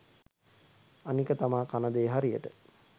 අනික තමා කනදේ හරියට